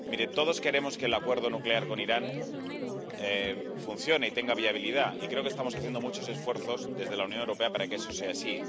Todos queremos que el acuerdo nuclear con Irán funcione y tenga viabilidad, y creo que estamos haciendo muchos esfuerzos desde la Unión Europea para que eso sea así.